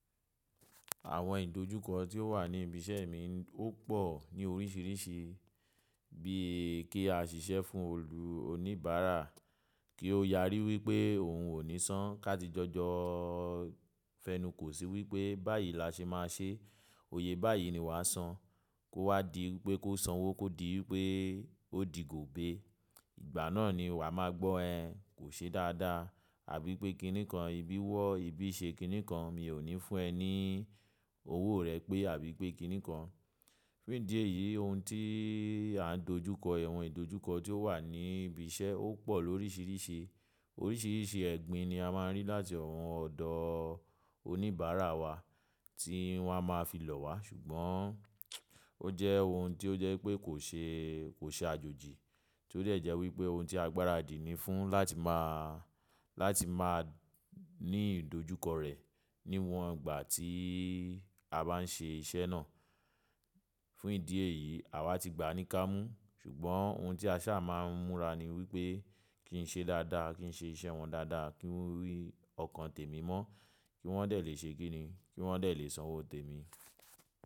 Àwọn ìdojúkọ tí ó wà ní ibi iṣẹ́ mi ó pọ̀ ní oríṣiríṣi bíi kí a ṣiṣẹ́ fún olù oníbàárà kí ó yárí wipé òun ò ní san ká ti jọ jọ fẹnu kò sí wípé báyìí la ṣe máa ṣe, òye báyìí ni wàá san kó wá di wipé kó sanwó kó di wípé ó di gòbé. Ìgbà náà ni wàá máa gbọ́ ẹ́n kò ṣe e dáadáa àbí pé kíni kan ibi wọ́ ibi ṣe kíni kan mi ò ní fún ẹ ní owó rẹ pé àbí pé kíni kan. Fún ìdí èyí ohun tí à ń dojú kọ awọ̀n ìdojúkọ tí ó wà ní ibi iṣẹ́ ó pọ̀ lóríṣiríṣi. Oríṣiríṣi ẹgbín ni a máa ń rí láti àwọn ọ̀dọ̀ oníbàárà wa tí wọ́n á máa fi lò wá ṣùgbọ́n ó jẹ́ ohun tí ó jẹ́ wipé kò ṣe, kò ṣe àjòjì tí ó dẹ̀ jẹ́ wípé ohun tí agbára dì ní fún láti máa, láti máa ní ìdojúkọ rẹ̀ níwọ̀n ìgbà tí a bá ń ṣe iṣẹ́ náà. Fún ìdí èyí àwa ti gbà a ní kámú ṣùgbọ́n ohun tí a sáa máa ń múra ni wípé kí ń ṣe dáadáa, kí ń ṣe iṣẹ́ wọn dáadáa, kí wi ọkàn tèmi mọ́, kí wọ́n dẹ̀ lè ṣe kíni, kí wọ́n dẹ̀ lè sanwó tèmi.